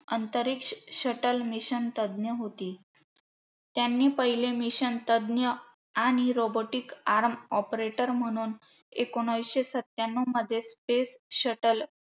अंतरिक्ष shuttle mission तज्ञ होती. त्यांनी पहिले mssion तज्ञ आणि Robotic arm operator म्हणून एकोणीसशे सत्यान्नवमध्ये space shuttle